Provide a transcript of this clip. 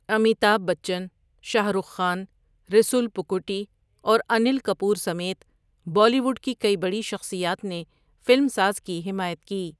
امیتابھ بچن، شاہ رخ خان، ریسول پوکوٹی اور انیل کپور سمیت Bollywood کی کئی بڑی شخصیات نے فلم ساز کی حمایت کی۔